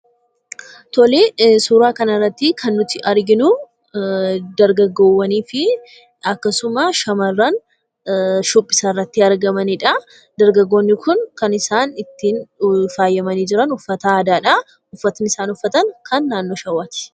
Tole, suuraa kanarratti kan arginu dargaggoowwanii fi akkasumas, shamarran shubbisarratti argamanidha. dargaggoonni kun kan isaan ittiin faayyamaani jiran uffata aadaadha. Uffanni isaan uffatan kan naannoo shawaati.